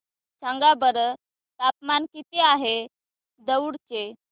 सांगा बरं तापमान किती आहे दौंड चे